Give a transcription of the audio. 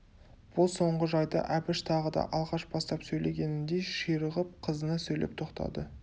бұл соңғы жайды әбіш тағы да алғаш бастап сөйлегеніндей ширығып қызына сөйлеп тоқтады